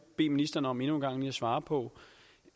bede ministeren om endnu en gang at svare på